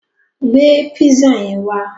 Gbé písà yẹn wá!